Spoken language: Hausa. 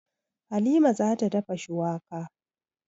Halima za ta dafa shuwaka.